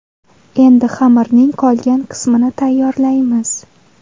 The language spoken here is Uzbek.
Endi xamirning qolgan qismini tayyorlaymiz.